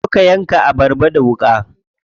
Zo ka yanka abarba da wuƙa.